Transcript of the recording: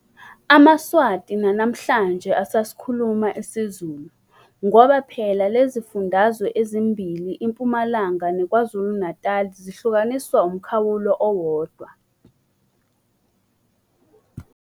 AmaSwati nanamhlanje basasikhuluma isiZulu, ngoba phela lezifundazwe ezimbili iMpumalanga neKwazulu-Natal zihlukaniswa umkhawulo owodwa.